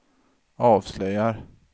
avslöjar